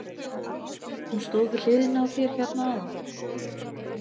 Hún stóð við hliðina á þér hérna áðan.